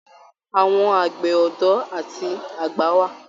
Àwọn àgbẹ̀ ọdọ àti àgbà wà.